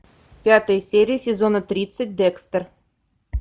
пятая серия сезона тридцать декстер